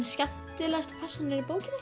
skemmtilegasta persónan